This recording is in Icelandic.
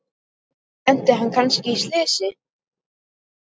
Lenti hann kannski í slysi?